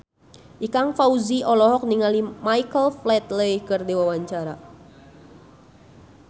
Ikang Fawzi olohok ningali Michael Flatley keur diwawancara